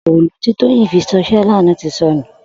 Òòlú ti Toyin fi ṣisè làná ti sọ̀nú